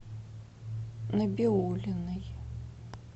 набиуллиной